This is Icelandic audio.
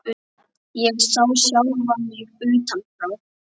Ég sá sjálfa mig utan frá.